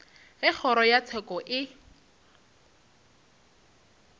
ge kgoro ya tsheko e